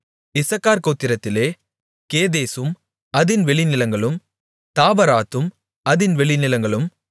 இசக்கார் கோத்திரத்திலே கேதேசும் அதின் வெளிநிலங்களும் தாபராத்தும் அதின் வெளிநிலங்களும்